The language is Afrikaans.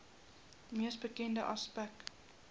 mees bekende aspek